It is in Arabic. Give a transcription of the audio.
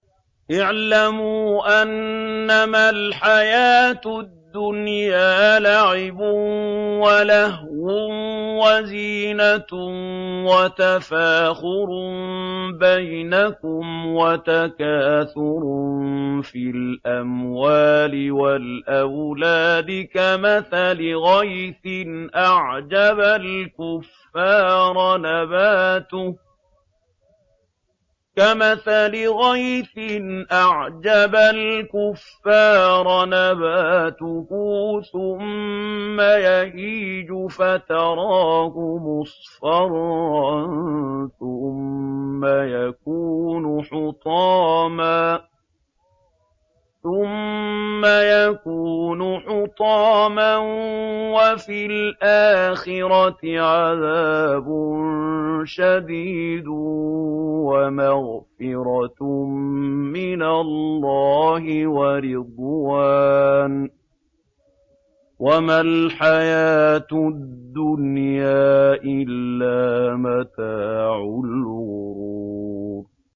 اعْلَمُوا أَنَّمَا الْحَيَاةُ الدُّنْيَا لَعِبٌ وَلَهْوٌ وَزِينَةٌ وَتَفَاخُرٌ بَيْنَكُمْ وَتَكَاثُرٌ فِي الْأَمْوَالِ وَالْأَوْلَادِ ۖ كَمَثَلِ غَيْثٍ أَعْجَبَ الْكُفَّارَ نَبَاتُهُ ثُمَّ يَهِيجُ فَتَرَاهُ مُصْفَرًّا ثُمَّ يَكُونُ حُطَامًا ۖ وَفِي الْآخِرَةِ عَذَابٌ شَدِيدٌ وَمَغْفِرَةٌ مِّنَ اللَّهِ وَرِضْوَانٌ ۚ وَمَا الْحَيَاةُ الدُّنْيَا إِلَّا مَتَاعُ الْغُرُورِ